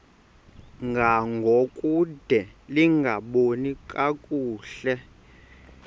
ngangokude lingaboni kakuhle